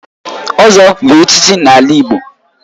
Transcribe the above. Ozo bu echichi n'ala Igbo